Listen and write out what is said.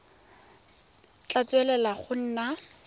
tla tswelela go nna mo